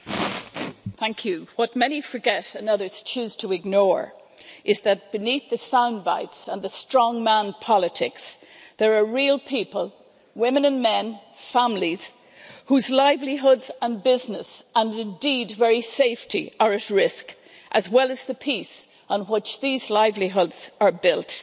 Madam President, what many forget and others choose to ignore is that beneath the soundbites and the strong-man politics, there are real people, women and men, families, whose livelihoods and business and indeed very safety are at risk, as well as the peace on which these livelihoods are built.